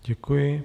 Děkuji.